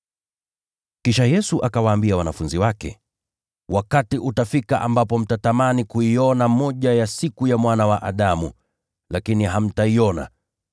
Kisha Yesu akawaambia wanafunzi wake, “Wakati utafika ambapo mtatamani kuiona moja ya siku ya Mwana wa Adamu, lakini hamtaiona.